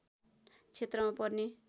क्षेत्रमा पर्ने